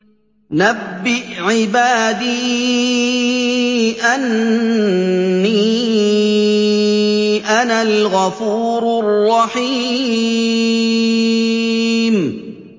۞ نَبِّئْ عِبَادِي أَنِّي أَنَا الْغَفُورُ الرَّحِيمُ